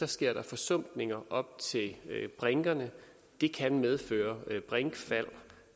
sker der forsumpninger op til brinkerne det kan medføre brinkfald